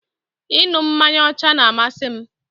Ị ṅu mmanya ọcha n'amasị m